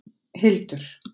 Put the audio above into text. Hildur